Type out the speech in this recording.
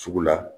Sugu la